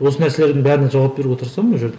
осы нәрселердің бәріне жауап беруге тырысамын ол жерде